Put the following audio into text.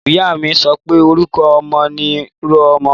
Ìyá mi sọpẹ; orúkọ ọmọ ni ro ọmọ